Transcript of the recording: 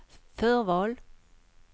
förval